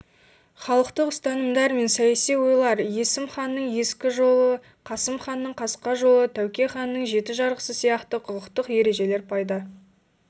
халықтық ұстанымдар мен саяси ойлар есім ханның ескі жолы қасым ханның қасқа жолы тәуке ханның жеті жарғысы сияқты құқықтық ережелер пайда